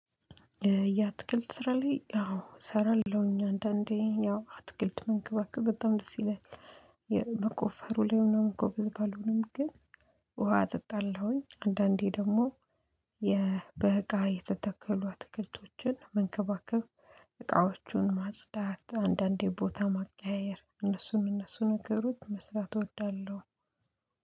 የአትክልት ስራ ላይ ያው እሰራለሁኝ አንዳንዴ ያው አትክልት መንከባክብ በጣም ደስ ይላል። የመቆፈሩ ላይ ምናምን እኮ ጎበዝ ባልሆንም ግን ውሃ እጠጣለሁኝ አንዳንዴ ደግሞ። በእቃ የተተከሉ አትክልቶችን መንከባከብ። እቃዎቹን ማጽዳት አንዳንዴ ቦታ ማቀያየር እነሱን እነሱን ነገሮች መስራት እወዳለሁ።